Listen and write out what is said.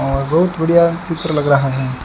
और बहुत बढ़िया चित्र लग रहा है।